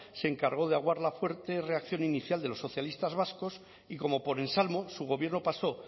se encargó de aguar la fuerte reacción inicial de los socialistas vascos y como por ensalmo su gobierno pasó